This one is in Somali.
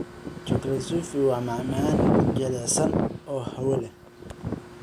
Chocolate souffl� waa macmacaan jilicsan oo hawo leh.